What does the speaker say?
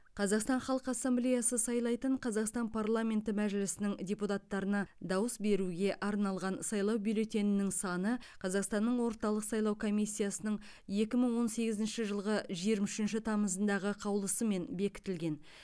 қазақстан халқы ассемблеясы сайлайтын қазақстан парламенті мәжілісінің депутаттарына дауыс беруге арналған сайлау бюллетенінің саны қазақстанның орталық сайлау комиссиясының екі мың он сегізінші жылғы жиырма үшінші тамызындағы қаулысымен бекітілген